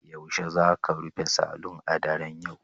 Yaushe za ku rufe saloon a daren yau